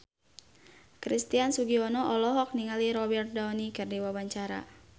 Christian Sugiono olohok ningali Robert Downey keur diwawancara